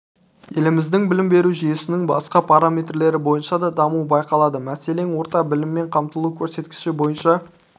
еліміздің білім беру жүйесінің басқа параметрлері бойынша да даму байқалады мәселен орта біліммен қамтылу көрсеткіші бойынша